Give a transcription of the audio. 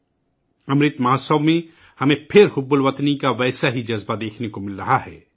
حب الوطنی کا وہی جذبہ ہمیں امرت مہوتسو میں دوبارہ دیکھنے کو مل رہا ہے